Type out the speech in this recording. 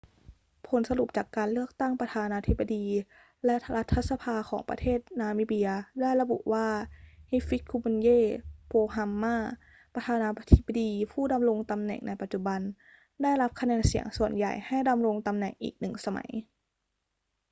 ผลสรุปจากการเลือกตั้งประธานาธิบดีและรัฐสภาของประเทศนามิเบียได้ระบุว่า hifikepunye pohamba ประธานาธิบดีผู้ดำรงตำแหน่งในปัจจุบัน ได้รับคะแนนเสียงส่วนใหญ่ให้ดำรงตำแหน่งอีกหนึ่งสมัย